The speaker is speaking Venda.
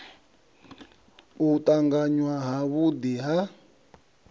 u tanganywa ha vhudi ha